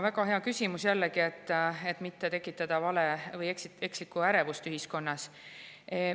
Väga hea küsimus, jällegi, et mitte tekitada ekslikku ärevust ühiskonnas.